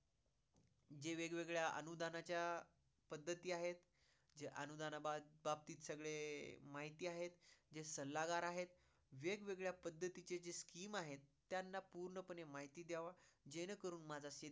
जे वेग वेगळ्या अनुदानाच्या पद्धती आहेत, जे अनुदानाबाबतीत सगळे माहिती आहेत, जे आहेत. वेग वेगळ्या पध्तीतच्या जे scheme आहेत त्यांना पूर्णपणे माहिती द्यावा, ज्याने करून माझा शेतकरी